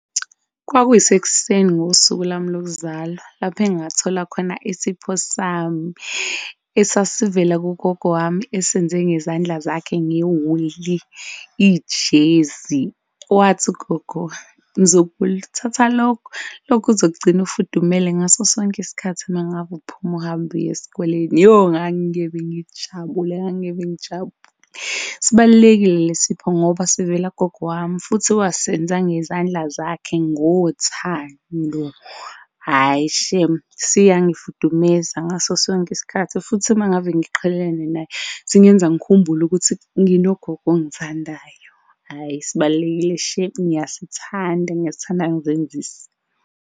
Kwakuyisekuseni ngosuku lwami lokuzalwa lapha engathola khona isipho sami, esasivela kugogo wami esenze ngezandla zakhe ngewuli, ijezi. Wathi ugogo mzukulu thatha lokhu, okuzokugcina ufudumele ngaso sonke isikhathi uma ngabe uphuma uhambe uye esikoleni. Yho, ngangingeve ngijabule, ngangingeve ngijabule. Sibalulekile le sipho ngoba sivela kugogo wami futhi wasenza ngezandla zakhe ngothando, hhayi shame, siyangifudumeza ngaso sonke isikhathi. Futhi, uma ngabe ngiqhelelene naye singenza ngikhumbule ukuthi nginogogo ongithandayo, hhayi sibalulekile shame. Ngiyasithanda ngiyasithanda, angizenzisi.